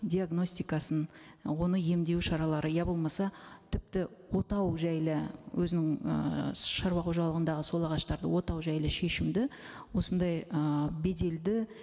диагностикасын і оны емдеу шаралары я болмаса тіпті отау жайлы өзінің ы шаруа қожалығындағы сол ағаштарды отау жайлы шешімді осындай ы беделді